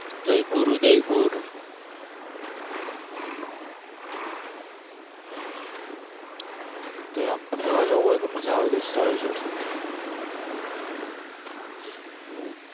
જયપુર ઉદયપુર હમ તોય ફરવા જવું હોય તો મજા આવે દોસ્તારો જોડે.